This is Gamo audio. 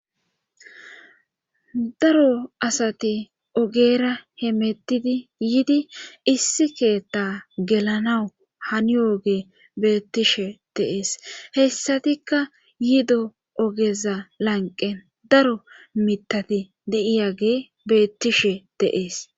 daro asati ogera he mettidi yiidi issi keetta gelanawu hani oge beettishe deees hessatikka yiido ogeza lanqen daro mitati de7iyage beettishe deees